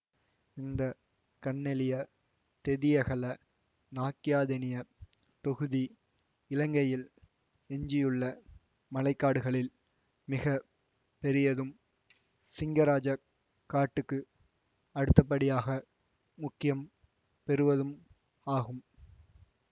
இந்த கன்னெலியதெதியகலநாக்கியாதெனிய தொகுதி இலங்கையில் எஞ்சியுள்ள மழை காடுகளில் மிக பெரியதும் சிங்கராஜக் காட்டுக்கு அடுத்தபடியாக முக்கியம் பெறுவதும் ஆகும்